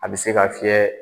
A bɛ se ka fiyɛ